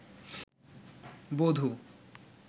বধূ